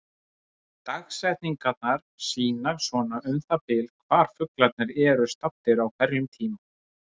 dagsetningarnar sýna svona um það bil hvar fuglarnir eru staddir á hverjum tíma